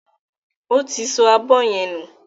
Ó ti sọ abọ́ yẹn nù.